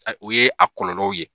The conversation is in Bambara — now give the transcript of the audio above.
u ye a kɔlɔlɔw ye.